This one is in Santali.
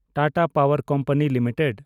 Tata power company limited